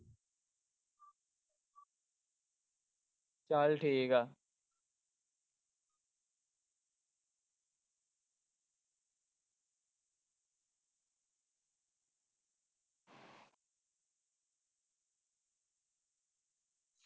ਚਲ ਠੀਕ ਆ।